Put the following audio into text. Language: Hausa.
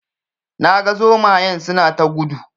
Na ga zomayen suna ta gudu